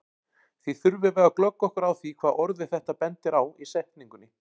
Því þurfum við að glöggva okkur á því hvað orðið þetta bendir á í setningunni.